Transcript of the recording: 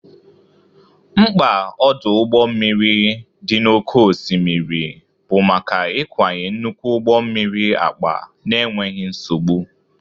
Mkpa ọdụ ụgbọ mmiri dị n'oké osimiri bụ maka ịkwanye nnukwu ụgbọ mmiri akpa n'enweghị nsogbu.